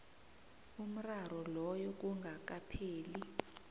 umraro loyo kungakapheli